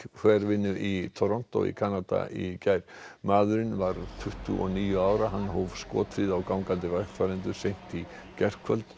hverfinu í Toronto í Kanada í gær maðurinn var tuttugu og níu ára hann hóf skothríð á gangandi vegfarendur seint í gærkvöld